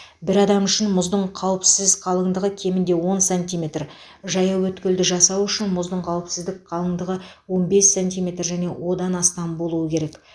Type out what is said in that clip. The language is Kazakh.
бір адам үшін мұздың қауіпсіз қалыңдығы кемінде он сантиметр жаяу өткелді жасау үшін мұздың қауіпсіз қалыңдығы он бес сантиметр және одан астам болуы керек